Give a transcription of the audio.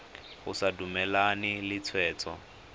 o sa dumalane le tshwetso